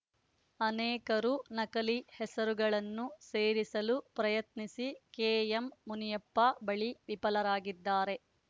ಅನೇಕರು ನಕಲಿ ಹೆಸರುಗಳನ್ನು ಸೇರಿಸಲು ಪ್ರಯತ್ನಿಸಿ ಕೆಎಂಮುನಿಯಪ್ಪ ಬಳಿ ವಿಫಲರಾಗಿದ್ದಾರೆ